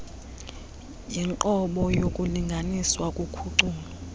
yinqobo yokulinganiswa kuphuculo